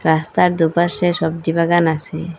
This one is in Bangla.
রাস্তার দুপাশে সব্জী বাগান আসে।